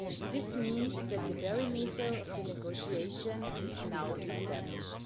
This means that the parameters for the negotiation are now established.